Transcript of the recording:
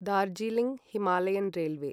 Darjeeling Himalayan railway